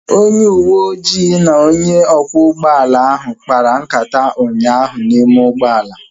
Onye uweojii na onye ọkwọ ụgbọala ahụ kpara nkata ụnyaahụ n'ime ụgbọala